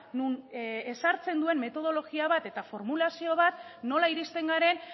non ezartzen duen metodologia bat eta formulazio bat nola iristen garen